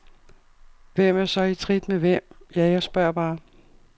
Hvem er så i trit med hvem, ja, jeg spørger bare?